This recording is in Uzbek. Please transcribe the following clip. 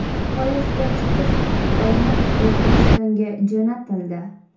Poyezdga chipta sotib olinib, O‘zbekistonga jo‘natildi.